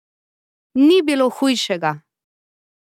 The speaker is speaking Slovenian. Ni bilo hujšega!